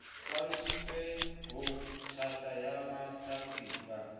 hlalositsweng ho tjhata ya mahlatsipa